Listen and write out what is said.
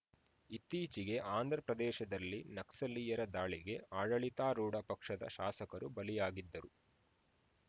ಇತ್ತೀಚೆಗೆ ಆಂಧ್ರಪ್ರದೇಶದಲ್ಲಿ ನಕ್ಸಲೀಯರ ದಾಳಿಗೆ ಆಡಳಿತಾರೂಢ ಪಕ್ಷದ ಶಾಸಕರು ಬಲಿಯಾಗಿದ್ದರು